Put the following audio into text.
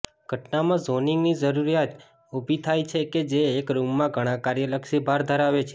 ઘટનામાં ઝોનિંગની જરૂરિયાત ઊભી થાય છે કે જે એક રૂમમાં ઘણા કાર્યલક્ષી ભાર ધરાવે છે